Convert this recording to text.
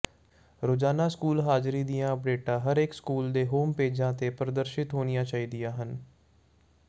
ਰੋਜ਼ਾਨਾ ਸਕੂਲ ਹਾਜ਼ਰੀ ਦੀਆਂ ਅਪਡੇਟਾਂ ਹਰੇਕ ਸਕੂਲ ਦੇ ਹੋਮ ਪੇਜਾਂ ਤੇ ਪ੍ਰਦਰਸ਼ਿਤ ਹੋਣੀਆਂ ਚਾਹੀਦੀਆਂ ਹਨ